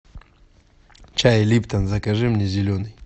чай липтон закажи мне зеленый